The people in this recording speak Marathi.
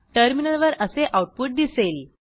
टर्मिनलवर असे आऊटपुट दिसेल